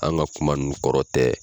An ka kuma ninnu kɔrɔ tɛ